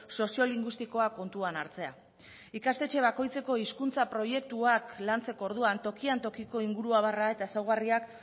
soziolinguistikoa kontuan hartzea ikastetxe bakoitzeko proiektuak lantzeko orduan tokian tokiko inguruabarra eta ezaugarriak